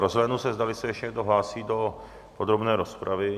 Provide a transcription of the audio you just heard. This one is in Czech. Rozhlédnu se, zdali se ještě někdo hlásí do podrobné rozpravy?